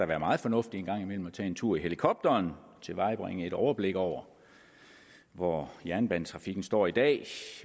være meget fornuftigt en gang imellem at tage en tur i helikopteren at tilvejebringe et overblik over hvor jernbanetrafikken står i dag